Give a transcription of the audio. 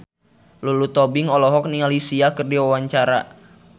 Lulu Tobing olohok ningali Sia keur diwawancara